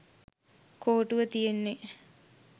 කෝටුව තියෙන්නෙ.